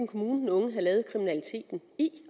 kommune den unge havde lavet kriminaliteten i